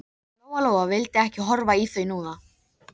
Lóa Lóa vildi ekki horfa í þau núna.